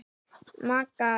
Magga æst.